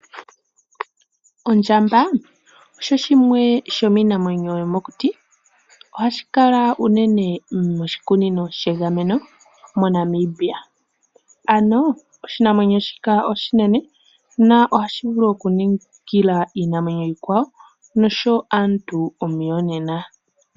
Ondjamba osho shimwe shomiinamwenyo yomokuti, ohashi kala unene moshikunino shegameno moNamibia, ano oshinamwenyo shika oshinene na ohashi vulu okuningila iinamwenyo iikwawo nosho aantu omuyonena.